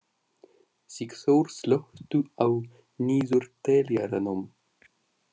Sigþór, slökktu á niðurteljaranum.